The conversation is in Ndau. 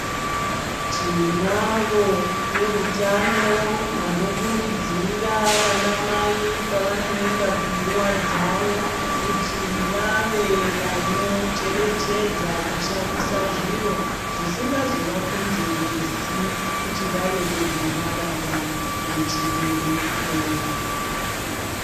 Tinavo vehutano vanokurudzira vanamai pavanoenda kunguva dzawo. Kuti vave vanocherechedza kushandisa zviro zvisingazovakonzeresi kuti vave negomarara rechibereko.